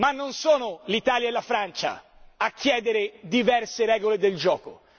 Ma non sono l'Italia e la Francia a chiedere diverse regole del gioco.